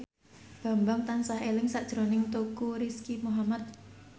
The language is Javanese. Bambang tansah eling sakjroning Teuku Rizky Muhammad